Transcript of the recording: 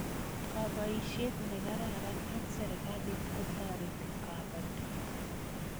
kabaishiet ne kararan eng serekalit kotareti kabatik